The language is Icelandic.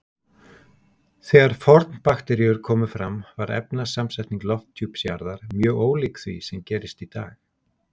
Þegar fornbakteríur komu fram var efnasamsetning lofthjúps jarðar mjög ólík því sem gerist í dag.